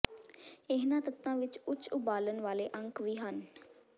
ਇਹਨਾਂ ਤੱਤਾਂ ਵਿੱਚ ਉੱਚ ਉਬਾਲਣ ਵਾਲੇ ਅੰਕ ਵੀ ਹਨ